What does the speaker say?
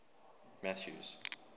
mathews